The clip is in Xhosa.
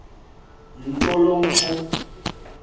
nto lo mfo